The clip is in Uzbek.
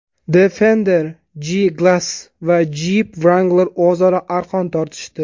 Defender, G-Class va Jeep Wrangler o‘zaro arqon tortishdi.